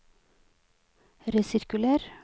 resirkuler